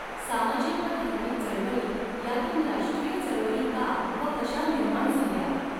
सामाजिक व धार्मिक चळवळी यातून राष्ट्रीय चळवळी का व कशा निर्माण झाल्या?